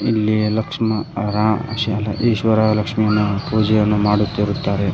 ಇಲ್ಲಿ ಲಕ್ಷ್ಮ ರಾ ಶಾಲಾ ಈಶ್ವರ ಲಕ್ಷ್ಮಿಯನ್ನು ಪೂಜೆಯನ್ನು ಮಾಡುತ್ತಿರುತ್ತಾರೆ.